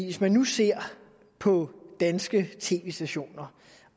hvis man nu ser på danske tv stationer